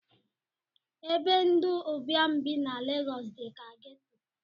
Ebe ndi ụbịam bi na legosi dika geto